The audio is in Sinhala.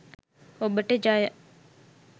ඔබට ජය !